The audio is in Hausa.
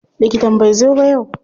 Likitan bai zo ba yau.